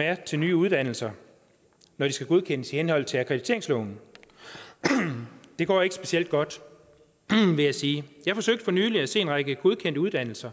er til nye uddannelser når de skal godkendes i henhold til akkrediteringsloven det går ikke specielt godt vil jeg sige jeg forsøgte for nylig at se på en række godkendte uddannelser